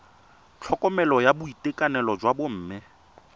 tlhokomelo ya boitekanelo jwa bomme